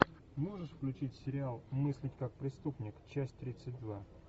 можешь включить сериал мыслить как преступник часть тридцать два